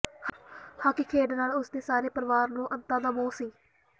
hockey ਖੇਡ ਨਾਲ ਉਸ ਦੇ ਸਾਰੇ ਪਰਿਵਾਰ ਨੂੰ ਅੰਤਾਂ ਦਾ ਮੋਹ ਸੀ